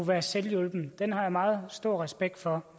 være selvhjulpen har jeg meget stor respekt for